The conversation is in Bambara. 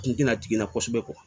Kun tɛna jigin kosɛbɛ